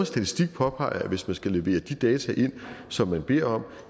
statistik påpeger at hvis de skal levere de data ind som man beder om